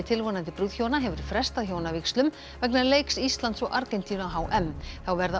tilvonandi brúðhjóna hefur frestað hjónavígslum vegna leiks Íslands og Argentínu á h m þá verða